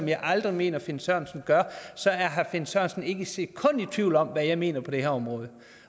jeg aldrig mener finn sørensen gør så er herre finn sørensen ikke et sekund i tvivl om hvad jeg mener på det her område